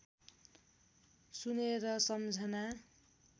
सुनेर सम्झना